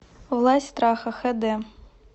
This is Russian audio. власть страха хэ дэ